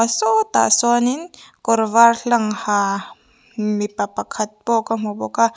sawtah sawnin kawr var hlang ha mipa pakhat pawh ka hmu bawk a.